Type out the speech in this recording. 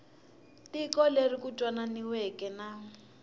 tiko leri ku twananiweke na